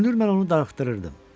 Görünür, mən onu darıxdırırdım.